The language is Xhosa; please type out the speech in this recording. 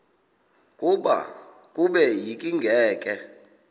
kube yinkinge ke